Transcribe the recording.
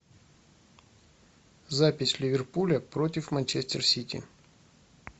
запись ливерпуля против манчестер сити